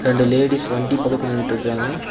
ரெண்டு லேடிஸ் வண்டி பக்கத்துல நின்ட்ருக்றாங்க.